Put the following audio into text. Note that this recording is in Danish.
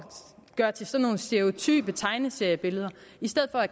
gøre til sådan nogle stereotype tegneseriebilleder i stedet for at